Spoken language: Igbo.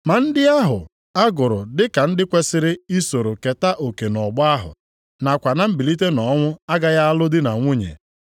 Ma ndị ahụ a gụrụ dị ka ndị kwesiri isoro keta oke nʼọgbọ ahụ, nakwa na mbilite nʼọnwụ agaghị alụ di na nwunye.